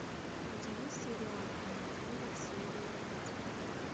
у тебя есть сериал том и джерри серия пять